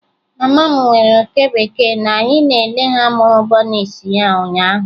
Mama m nwere oke bekee na anyị na-ele ha mụrụ bunnies ha ụnyaahụ.